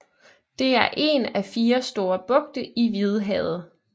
Det er en af fire store bugte i Hvidehavet